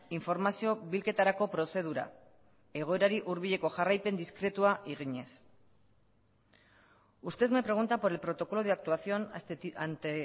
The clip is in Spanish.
informazio bilketarako prozedura egoerari hurbileko jarraipen diskretua eginez usted me pregunta por el protocolo de actuación ante